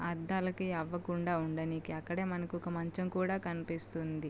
అద్దాలకి ఏమి అవ్వకుండా ఉండనియకి. అలాగే మనకి ఒక మంచం కూడా కనిపిస్తుంది.